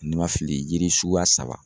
Ni n ma fili yiri suguya saba